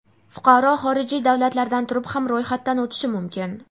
fuqaro xorijiy davlatlardan turib ham ro‘yxatdan o‘tishi mumkin.